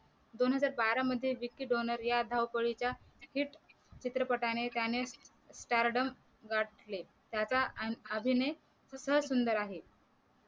दोन हजार बारा मध्ये जितकी डोनेरिया धावपळीच्या हिट चित्रपटाने त्याने stardom गाठले त्याचा अभिनय सुद्दा सुंदर आहे